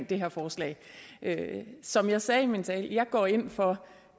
det her forslag som jeg sagde i min tale går jeg ind for